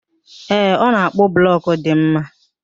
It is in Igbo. Ee, ọ na-akpụ blọkụ dị mma